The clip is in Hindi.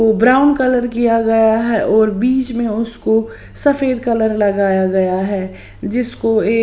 ब्राउन कलर किया गया है और बीच में उसको सफेद कलर लगाया गया है जिसको एक --